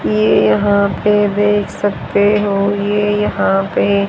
ये यहां पे देख सकते हो ये यहां पे--